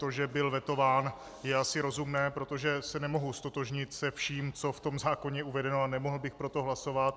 To, že byl vetován, je asi rozumné, protože se nemohu ztotožnit se vším, co je v zákoně uvedeno, a nemohl bych pro to hlasovat.